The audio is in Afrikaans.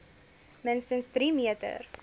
minste drie meter